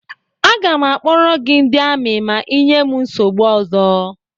Aga m akpọrọ gị ndị amị ma ị nyee m nsogbu ọzọ.